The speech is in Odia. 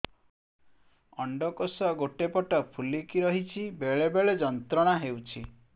ଅଣ୍ଡକୋଷ ଗୋଟେ ପଟ ଫୁଲିକି ରହଛି ବେଳେ ବେଳେ ଯନ୍ତ୍ରଣା ହେଉଛି